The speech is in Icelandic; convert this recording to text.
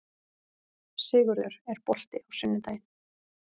Sigurður, er bolti á sunnudaginn?